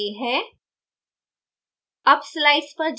chapter number a है